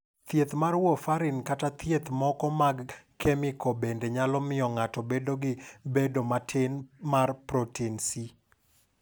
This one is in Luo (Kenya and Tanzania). "Thieth mar warfarin kata kit thieth moko mag kemiko bende nyalo miyo ng'ato obed gi bedo matin mar protein C."